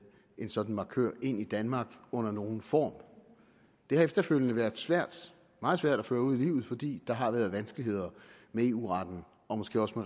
en sådan markør ind i danmark under nogen form det har efterfølgende været svært meget svært at føre ud i livet fordi der har været vanskeligheder med eu retten og måske også